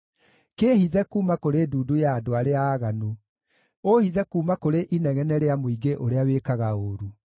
Kĩĩhithe kuuma kũrĩ ndundu ya andũ arĩa aaganu, ũũhithe kuuma kũrĩ inegene rĩa mũingĩ ũrĩa wĩkaga ũũru.